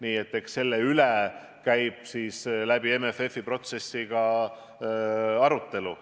Nii et eks selle üle käib läbi MFF-i protsessi ka arutelu.